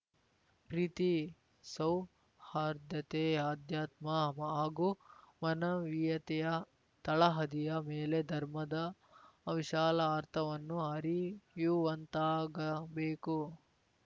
ಪ್ರೀತಿ ಸೌಹಾರ್ದತೆ ಆಧ್ಯಾತ್ಮ ಹಾಗೂ ಮಾನವೀಯತೆಯ ತಳಹದಿಯ ಮೇಲೆ ಧರ್ಮದ ವಿಶಾಲ ಅರ್ಥವನ್ನು ಅರಿಯುವಂತಾಗಬೇಕು